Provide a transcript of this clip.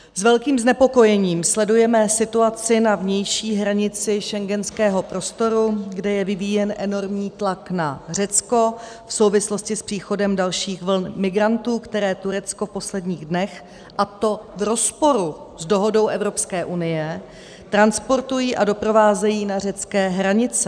S velkým znepokojením sledujeme situaci na vnější hranici schengenského prostoru, kde je vyvíjen enormní tlak na Řecko v souvislosti s příchodem dalších vln migrantů, které Turecko v posledních dnech, a to v rozporu s dohodou Evropské unie, transportuje a doprovází na řecké hranice.